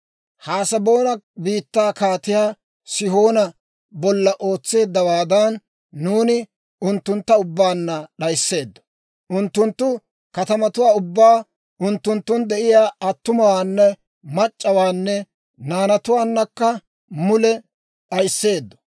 Haseboona biittaa Kaatiyaa Sihoona bolla ootseeddawaadan, nuuni unttuntta ubbaanna d'ayiseeddo. Unttunttu katamatuwaa ubbaa, unttunttun de'iyaa attumawaana mac'c'awaanne naanatuwaannakka mule d'ayiseedddo.